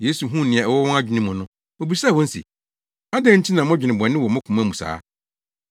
Yesu huu nea ɛwɔ wɔn adwene mu no, obisaa wɔn se, “Adɛn nti na modwene bɔne wɔ mo koma mu saa?